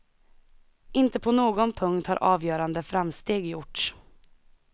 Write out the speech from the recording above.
Inte på någon punkt har avgörande framsteg gjorts.